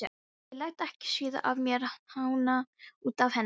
Ég læt ekki svíða af mér hána út af henni.